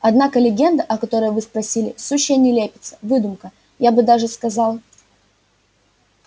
однако легенда о которой вы спросили сущая нелепица выдумка я бы даже сказал